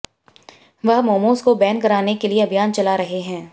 वह मोमोज को बैन कराने के लिए अभियान चला रहे हैं